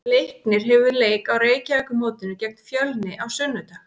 Leiknir hefur leik á Reykjavíkurmótinu gegn Fjölni á sunnudag.